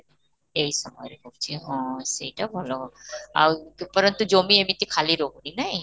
ଏଇ ସମୟରେ ହଉଛି ହଁ, ସେଇଟା ଭଲ ଆଉ ଉପର ତ ଜମି ଏମିତି ଖାଲି ରହୁନି ନାଇଁ